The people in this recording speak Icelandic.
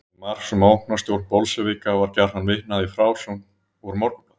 Til marks um ógnarstjórn bolsévíka var gjarnan vitnað í frásögn úr Morgunblaðinu.